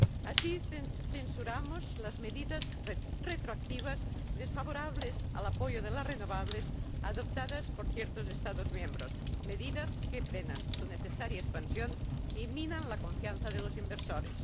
Así, censuramos las medidas retroactivas desfavorables al apoyo de las renovables adoptadas por ciertos Estados miembros, medidas que frenan su necesaria expansión y minan la confianza de los inversores.